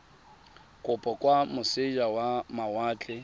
kopo kwa moseja wa mawatle